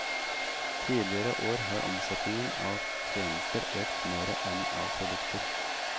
Tidligere år har omsetningen av tjenester økt mere enn av produkter.